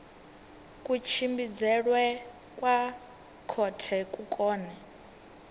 kutshimbidzelwe kwa khothe ku kone